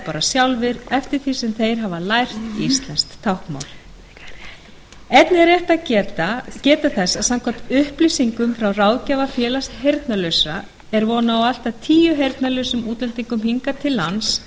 bara sjálfir eftir því sem þeir hafa lært íslenskt táknmál einnig er rétt að geta þess að samkvæmt upplýsingum frá ráðgjafa félags heyrnarlausra er von á allt að tíu heyrnarlausum útlendingum hingað til lands á